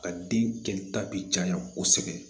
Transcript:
Ka den kɛ ta bi caya kosɛbɛ